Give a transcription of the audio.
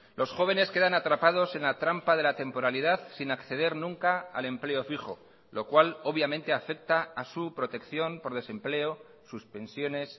los jóvenes quedan atrapados en la trampa de la temporalidad sin acceder nunca al empleo fijo lo cual obviamente afecta a su protección por desempleo sus pensiones